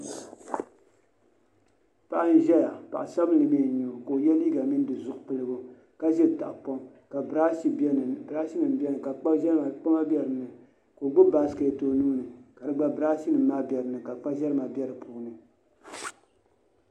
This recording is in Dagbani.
Paɣi nzɛya. paɣi sabinli mi n nyao kaoye liiga mini di zupiligu kaziri tahi pɔŋ ka birashi nim be di puuni. ka kpama be dini, ka o gbubi. basket onuuni ka di gba, ka birashi nim be dipuuni. ka kpazɛri ma be dipuuni